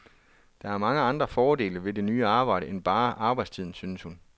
Der er mange andre fordele ved det nye arbejde end bare arbejdstiden, synes hun.